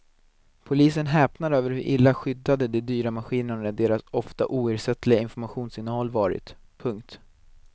Polisen häpnar över hur illa skyddade de dyra maskinerna och deras ofta oersättliga informationsinnehåll varit. punkt